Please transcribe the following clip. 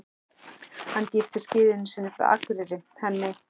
Hann giftist gyðjunni sinni frá Akureyri, henni